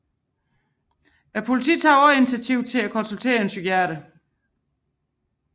Politiet tog også initiativ til at konsultere en psykiater